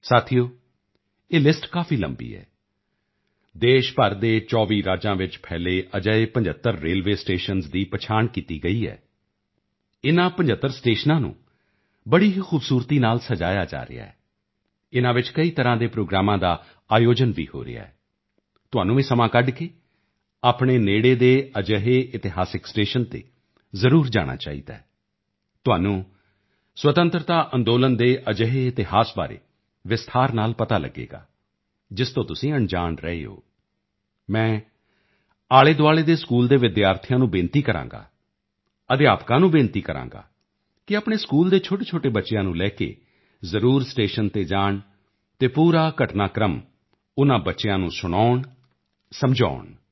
ਸਾਥੀਓ ਇਹ ਲਿਸਟ ਕਾਫੀ ਲੰਬੀ ਹੈ ਦੇਸ਼ ਭਰ ਦੇ 24 ਰਾਜਾਂ ਵਿੱਚ ਫੈਲੇ ਅਜਿਹੇ 75 ਰੇਲਵੇ ਸਟੇਸ਼ਨ ਦੀ ਪਛਾਣ ਕੀਤੀ ਗਈ ਹੈ ਇਨ੍ਹਾਂ 75 ਸਟੇਸ਼ਨਾਂ ਨੂੰ ਬੜੀ ਹੀ ਖੂਬਸੂਰਤੀ ਨਾਲ ਸਜਾਇਆ ਜਾ ਰਿਹਾ ਹੈ ਇਨ੍ਹਾਂ ਵਿੱਚ ਕਈ ਤਰ੍ਹਾੰ ਦੇ ਪ੍ਰੋਗਰਾਮਾਂ ਦਾ ਵੀ ਆਯੋਜਨ ਹੋ ਰਿਹਾ ਹੈ ਤੁਹਾਨੂੰ ਵੀ ਸਮਾਂ ਕੱਢ ਕੇ ਆਪਣੇ ਨੇੜੇ ਦੇ ਅਜਿਹੇ ਇਤਿਹਾਸਿਕ ਸਟੇਸ਼ਨ ਤੇ ਜ਼ਰੂਰ ਜਾਣਾ ਚਾਹੀਦਾ ਹੈ ਤੁਹਾਨੂੰ ਸੁਤੰਤਰਤਾ ਅੰਦੋਲਨ ਦੇ ਅਜਿਹੇ ਇਤਿਹਾਸ ਬਾਰੇ ਵਿਸਤਾਰ ਨਾਲ ਪਤਾ ਲਗੇਗਾ ਜਿਸ ਤੋਂ ਤੁਸੀਂ ਅਣਜਾਣ ਰਹੇ ਹੋ ਮੈਂ ਆਲ਼ੇਦੁਆਲ਼ੇ ਦੇ ਸਕੂਲ ਦੇ ਵਿਦਿਆਰਥੀਆਂ ਨੂੰ ਬੇਨਤੀ ਕਰਾਂਗਾ ਅਧਿਆਪਕਾਂ ਨੂੰ ਬੇਨਤੀ ਕਰਾਂਗਾ ਕਿ ਆਪਣੇ ਸਕੂਲ ਦੇ ਛੋਟੇਛੋਟੇ ਬੱਚਿਆਂ ਨੂੰ ਲੈ ਕੇ ਜ਼ਰੂਰ ਸਟੇਸ਼ਨ ਤੇ ਜਾਣ ਅਤੇ ਪੂਰਾ ਘਟਨਾਕ੍ਰਮ ਉਨ੍ਹਾਂ ਬੱਚਿਆਂ ਨੂੰ ਸੁਣਾਉਣ ਸਮਝਾਉਣ